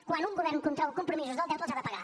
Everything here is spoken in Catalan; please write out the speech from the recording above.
quan un govern contreu compromisos del deute els ha de pagar